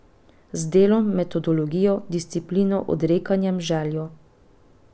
Z delom, metodologijo, disciplino, odrekanjem, željo ...